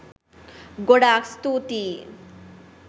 ගොඩාක් ස්තුතියි